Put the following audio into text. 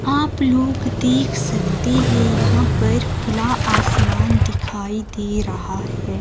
आप लोग देख सकते हैं यहां पर खुला आसमान दिखाई दे रहा है।